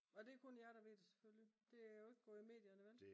og det er kun jer der ved det selvfølgelig det er jo ikke gået i medierne vel